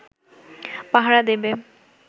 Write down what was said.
পাহারা দেবে